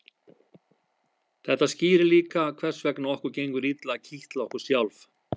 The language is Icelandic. þetta skýrir líka hvers vegna okkur gengur illa að kitla okkur sjálf